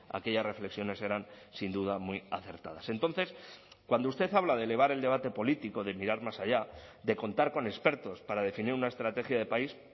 aquellas reflexiones eran sin duda muy acertadas entonces cuando usted habla de elevar el debate político de mirar más allá de contar con expertos para definir una estrategia de país